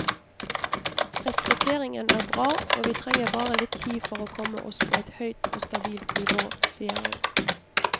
Rekrutteringen er bra, og vi trenger bare litt tid for å komme oss på et høyt og stabilt nivå, sier hun.